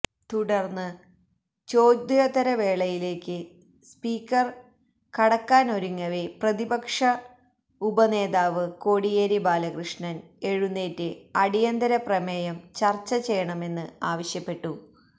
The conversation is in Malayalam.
തുടർന്ന് ചോദ്യോത്തരവേളയിലേക്ക് സ്പീക്കർ കടക്കാൻ ഒരുങ്ങവെ പ്രതിപക്ഷ ഉപനേതാവ് കോടിയേരി ബാലകൃഷ്ണൻ എഴുന്നേറ്ര് അടിയന്തര പ്രമേയം ചർച്ച ചെയ്യണമെന്ന് ആവശ്യപ്പെട്ടു